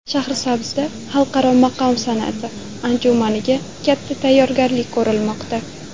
Shahrisabzda xalqaro maqom san’ati anjumaniga katta tayyorgarlik ko‘rilmoqda .